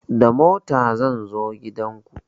Da mota zan zo gidan ku